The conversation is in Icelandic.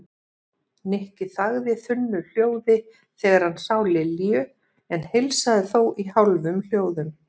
Nikki þagði þunnu hljóði þegar hann sá Lilju en heilsaði þó í hálfum hljóðum.